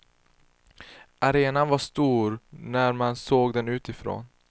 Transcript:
Arenan var stor när man såg den utifrån.